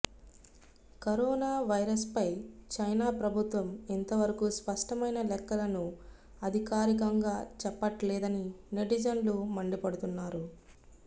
corona వైరస్పై China ప్రభుత్వం ఇంతవరకు స్పష్టమైన లెక్కలను అధికారికంగా చెప్పట్లేదని నెటిజన్లు మండిపడుతున్నారు